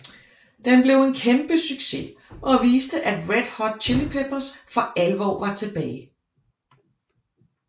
Den blev en kæmpe succes og viste at Red Hot Chili Peppers for alvor var tilbage